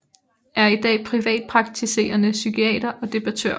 Er i dag privatpraktiserende psykiater og debattør